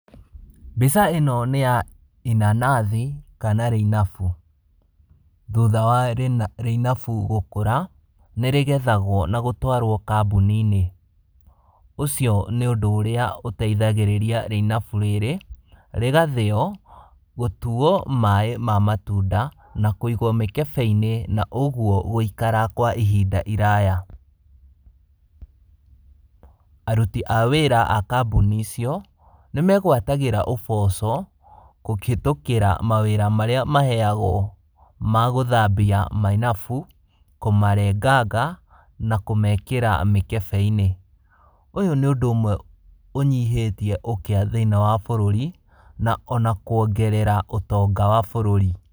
Mbica ĩno nĩ ya inanathi kana rĩinabu, thutha wa rĩna rĩinabu gũkura nĩ rĩgethagwo na gũtwarwo kambun-inĩ, ũcio nĩ ũndũ ũrĩa ũteithagĩrĩria rĩinabu rĩrĩ, rĩgathĩyo, gũtuwo maaĩ ma matunda, na kũĩgwo mĩkebe-inĩ na ũguo gwĩikara kwa ihinda iraya, arũti a wĩra a kambuni icio, nĩ megwatagĩra ũboco gũkĩthokĩra mawĩra marĩa maheyagwo maa gũthambia mainabu, kũmarenganga na kũmekĩra mĩkebe-inĩ, ũyũ nĩ ũndũ ũmwe ũnyihĩtie ũkĩa thĩiniĩ wa bũrũri, na ona kwongerera ũtonga wa bũrũri.